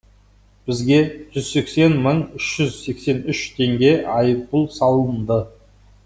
бізге жүз сексен мың үш жүз сексен үш теңге айыппұл салынды